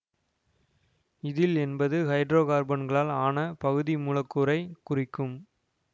இதில் என்பது ஹைட்ரோ கார்பன்களால் ஆன பகுதி மூலக்கூறைக் குறிக்கும்